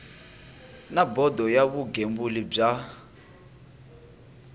na bodo ya vugembuli bya